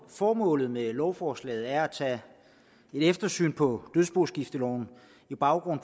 formålet med lovforslaget er at tage et eftersyn på dødsboskifteloven med baggrund